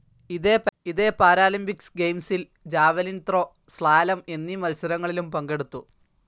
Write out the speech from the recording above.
ഇതേ പാരാലിമ്പിക്‌സ് ഗെയിംസിൽ javelin throw, slalom എന്നീ മത്സരങ്ങളിലും പങ്കെടുത്തു.